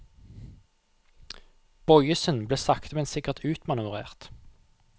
Boyesen ble sakte men sikkert utmanøvrert.